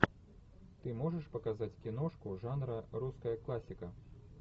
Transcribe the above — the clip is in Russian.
ты можешь показать киношку жанра русская классика